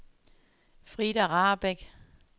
Frida Rahbek